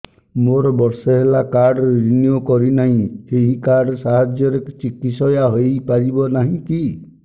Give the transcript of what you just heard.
ମୋର ବର୍ଷେ ହେଲା କାର୍ଡ ରିନିଓ କରିନାହିଁ ଏହି କାର୍ଡ ସାହାଯ୍ୟରେ ଚିକିସୟା ହୈ ପାରିବନାହିଁ କି